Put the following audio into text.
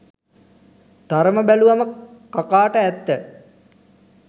තරම බැලුවම කකාට ඇත්ත